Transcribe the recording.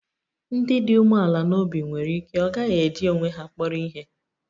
Ndị dị umeala n'obi nwere ike ọ gaghị eji onwe ha kpọrọ ihe